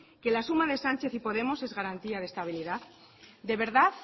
que la suma de sánchez y podemos es garantía de estabilidad de verdad